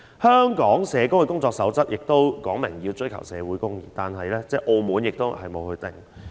香港社工的工作守則說明要追求社會公義，這是連澳門也沒有的規定。